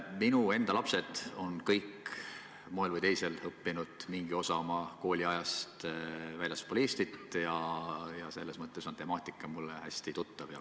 Minu enda lapsed on kõik ühel või teisel moel õppinud mingi osa oma kooliajast väljaspool Eestit ja selles mõttes on temaatika mulle hästi tuttav.